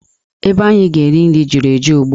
Ebe anyị ga-eri nri juru eju ugbua.